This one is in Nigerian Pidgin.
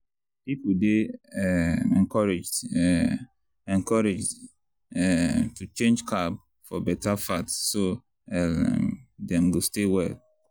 people dey um encouraged um encouraged um to change carb for better fat so um dem go stay well.